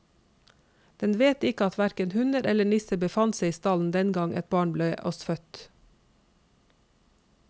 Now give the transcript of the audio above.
Den vet ikke at hverken hunder eller nisser befant seg i stallen den gang et barn ble oss født.